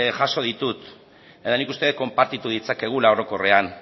jaso ditut eta nik uste dut konpartitu ditzakegula orokorrean